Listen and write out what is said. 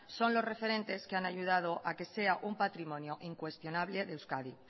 son los referentes que han ayudado a que sea un patrimonio incuestionable de euskadi